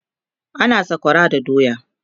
ana sakwara da doya